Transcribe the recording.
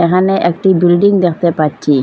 এখানে একটি বিল্ডিং দেখতে পাচ্ছি।